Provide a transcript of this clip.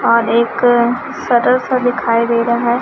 और एक सटर सा दिखाई दे रहा है।